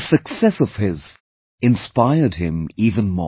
This success of his inspired him even more